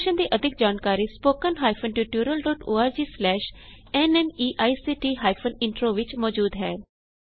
ਇਸ ਮਿਸ਼ਨ ਦੀ ਅਧਿਕ ਜਾਣਕਾਰੀ spoken hyphen tutorial dot org slash NMEICT hyphen intro ਵਿੱਚ ਮੌਜੂਦ ਹੈ